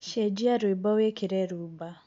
cenjĩa rwĩmbo wĩkĩre rhumba